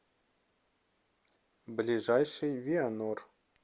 ближайший вианор